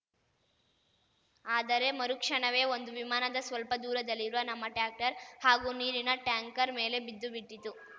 ಆದರೆ ಮರು ಕ್ಷಣವೇ ಒಂದು ವಿಮಾನದ ಸ್ವಲ್ಪ ದೂರದಲ್ಲಿರುವ ನಮ್ಮ ಟ್ರ್ಯಾಕ್ಟರ್‌ ಹಾಗೂ ನೀರಿನ ಟ್ಯಾಂಕರ್‌ ಮೇಲೆ ಬಿದ್ದು ಬಿಟ್ಟಿತು